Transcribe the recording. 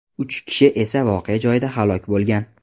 Uch kishi esa voqea joyida halok bo‘lgan.